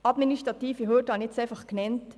Ich habe die administrativen Hürden genannt.